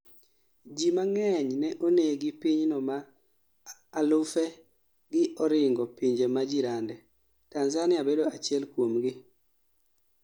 jii mang'eny ne onegi pinyno maa elufe gi oringo pinje majirande, Tanzania bedo achiel kuomgini